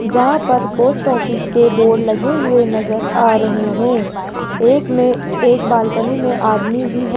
यहां पर post office के बोर्ड लगे हुए नजर आ रहे हैं एक में एक बालकनी में आदमी भी है।